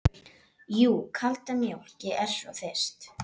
Jú, kalda mjólk, ég er svo þyrst.